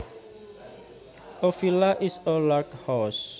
A villa is a large house